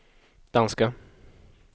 danska